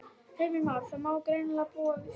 Heimir Már: Það má greinilega búast við fjöri?